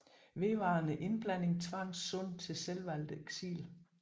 Vedvarende indblanding tvang Sun til selvvalgt eksil